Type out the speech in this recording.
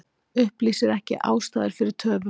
Upplýsir ekki ástæður fyrir töfum